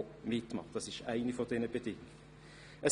Das ist eine der Bedingungen.